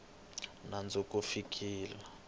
ri na nandzu ku fikela